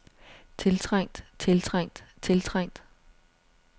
tiltrængt tiltrængt tiltrængt